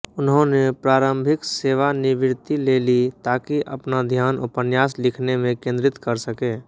उन्होंने प्रारंभिक सेवानिवृत्ति ले ली ताकि अपना ध्यान उपन्यास लिखने में केंद्रित कर सके